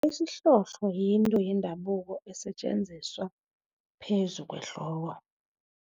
Isihlohlo yinto yendabuko esetjenziswa phezu kwehloko.